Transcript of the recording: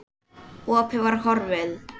Opið var horfið.